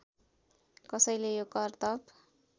कसैले यो करतब